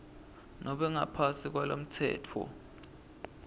nobe ngaphansi kwalomtsetfo